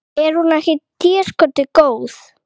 Er hún ekki déskoti góð?